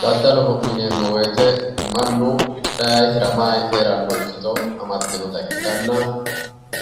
daddaloho yineemmo wote mannu hidhanni hiramanni heeranno ikkito amaddinota ikkitanna